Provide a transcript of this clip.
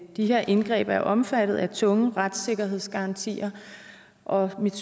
de her indgreb er omfattet af tunge retssikkerhedsgarantier og mit